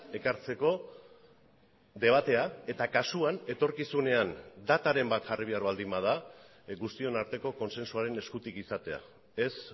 ekartzeko debatea eta kasuan etorkizunean dataren bat jarri behar baldin bada guztion arteko kontsensuaren eskutik izatea ez